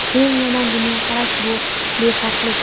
Eng yomon dunyoqarash – bu befarqlik.